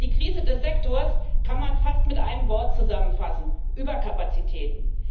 Die Krise des Sektors kann man fast mit einem Wort zusammenfassen Überkapazitäten.